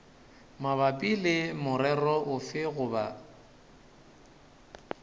mabapi le morero ofe goba